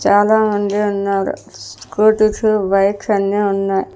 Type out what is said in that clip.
చాలామంది ఉన్నారు scooties bikes అన్నీ ఉన్నాయి.